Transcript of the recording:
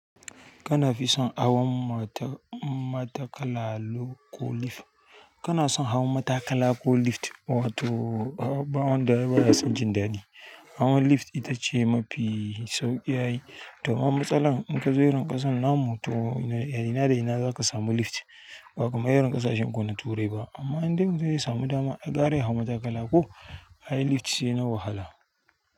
Kana fi son hawan matakala ko lif? Kana son hawan matakala ko lift, wato baw wanda baya son jin daɗi. Hawa lift itace mafi sauƙi ai to ma matsalan in kaje irin ƙasan namu to a ina da ina zaka samu lift? Ba kaman irin kasashenku na turai ba. Amma indai mutum zai samu dama ai gara ya hau matakala ko, ai lift shina wahala.